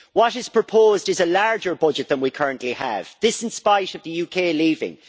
What is proposed is a larger budget than we currently have this in spite of the UK leaving.